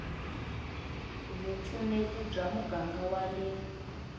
vupfuneti va muganga wa le